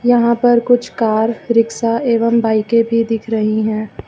यहां पर कुछ कार रिक्शा एवं बाइकें भी दिख रही हैं।